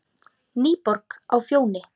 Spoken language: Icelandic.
NÝBORG Á FJÓNI,